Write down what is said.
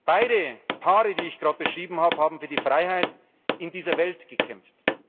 Beide Paare, die ich gerade beschrieben habe, haben für die Freiheit in dieser Welt gekämpft.